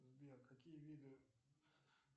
сбер какие виды